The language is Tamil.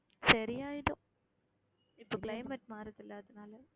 சரியாயிடும் இப்ப climate மாறுது இல்ல அதனால